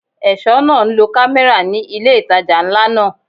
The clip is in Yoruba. Ẹ̀ṣọ́ náà ń lo kámẹ́rà ní ilé ìtajà ńlá náà.